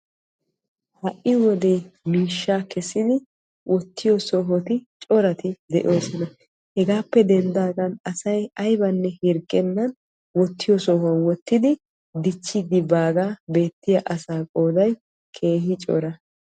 Ha"I wode miishshaa kessidi wottiyo sohoy corati de'oosona. Hegaappe denddaagan asay ayibanne hirggennan wottiyo sohuwan wottidi dichchiiddi baagaa beettiya asaa qooday keehippe cora.